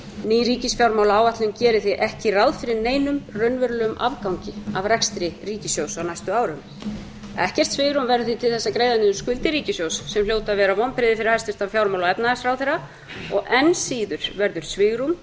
ný ríkisfjármálaáætlun gerir því ekki ráð fyrir neinum raunverulegum afgangi af rekstri ríkissjóðs á næstu árum ekkert svigrúm verður því til þess að greiða niður skuldir ríkissjóðs sem hljóta að vera vonbrigði fyrir hæstvirtan fjármála og efnahagsráðherra og enn síður verður svigrúm til